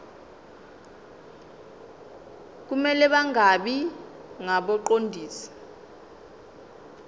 kumele bangabi ngabaqondisi